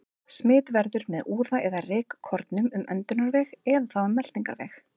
Smit verður með úða eða rykkornum um öndunarveg eða þá um meltingarveg.